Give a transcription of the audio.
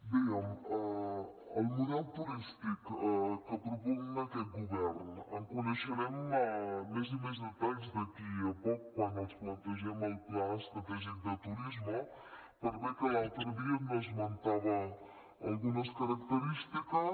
bé del model turístic que propugna aquest govern en coneixerem més i més detalls d’aquí a poc quan els plantegem el pla estratègic de turisme per bé que l’altre dia n’esmentava algunes característiques